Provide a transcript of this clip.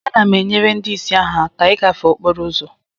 Ana m enyere ndị ìsì ahụ aka ịgafe okporo ụzọ